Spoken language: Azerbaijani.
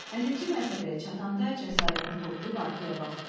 50-ci mərtəbəyə çatanda cəsarətini toplayıb arxaya baxdı.